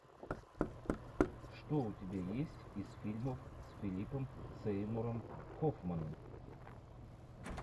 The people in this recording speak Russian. что у тебя есть из фильмов с филипом сеймуром хоффманом